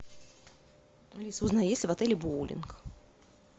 алиса узнай есть ли в отеле боулинг